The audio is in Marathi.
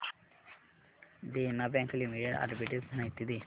देना बँक लिमिटेड आर्बिट्रेज माहिती दे